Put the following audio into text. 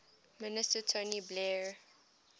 minister tony blair